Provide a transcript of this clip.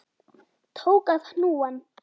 Tók af hnúann.